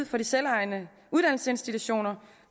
for de selvejende uddannelsesinstitutioner